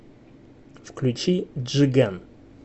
включи джиган